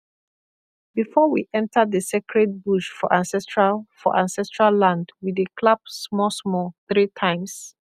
before we enter the sacred bush for ancestral for ancestral land we dey clap small small three times